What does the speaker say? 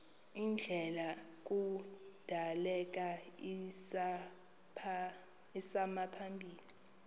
ndlela kudaleka isimaphambili